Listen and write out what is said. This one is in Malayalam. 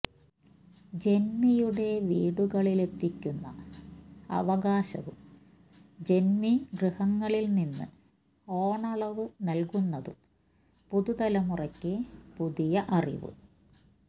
ജന്മിയുടെ വീടുകളിലെത്തിക്കുന്ന അവകാശവും ജന്മിഗൃഹങ്ങളിൽനിന്ന് ഓണളവ് നൽകുന്നതും പുതുതലമുറക്ക് പുതിയ അറിവ്